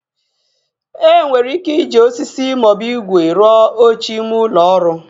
E nwere ike iji osisi maọbụ igwe rụọ oche ime ụlọ ọrụ